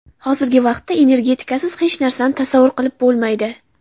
Hozirgi vaqtda energetikasiz hech narsani tasavvur qilib bo‘lmaydi.